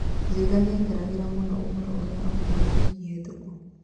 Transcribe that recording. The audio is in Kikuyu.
Njenga nĩekagĩrira mũno ũhoro ũria augire wiki hĩtoku